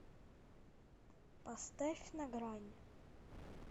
поставь на грани